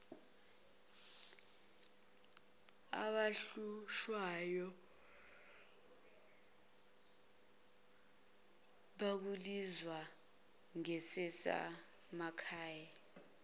abahlushwayo bekulinyazwa ngezasemakhay